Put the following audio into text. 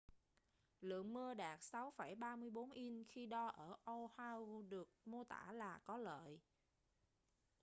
lượng mưa đạt 6,34 inch khi đo ở oahu được mô tả là có lợi